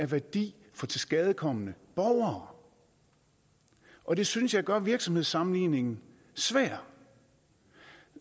værdi for tilskadekomne borgere og det synes jeg gør virksomhedssammenligningen svær